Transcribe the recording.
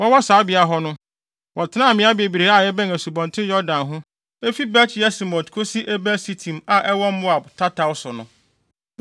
Wɔwɔ saa beae hɔ no, wɔtenaa mmeae bebree a ɛbɛn Asubɔnten Yordan ho—efi Bet-Yesimot kosi Abel Sitim a ɛwɔ Moab tataw so no.